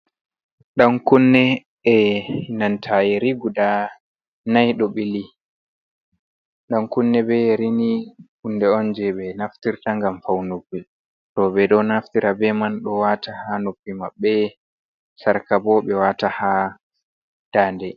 Ɗan Kunne, Enanta Yiri Guda Nai ɗo ɓili, Ɗan Kunne be Yerini Kunde'on je ɓe Naftirta ngam Faunuki ɓe ɗo Naftira beman ɓeɗo Wata ha Noppi Mabɓe, Sarkabo ɓe Wata ha Dande.